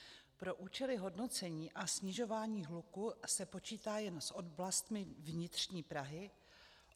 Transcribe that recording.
Pro účely hodnocení a snižování hluku se počítá jen s oblastmi vnitřní Prahy.